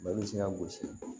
Ba bɛ se ka gosi